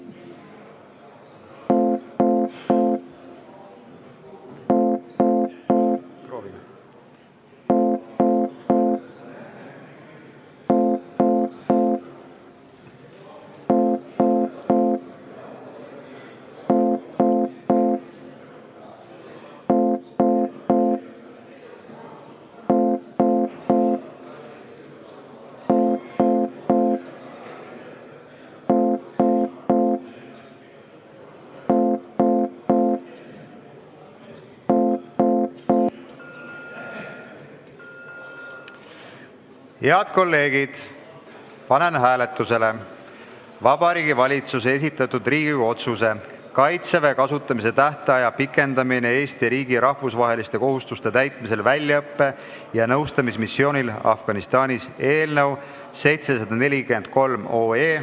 Head kolleegid, panen hääletusele Vabariigi Valitsuse esitatud Riigikogu otsuse "Kaitseväe kasutamise tähtaja pikendamine Eesti riigi rahvusvaheliste kohustuste täitmisel väljaõppe- ja nõustamismissioonil Afganistanis" eelnõu 743.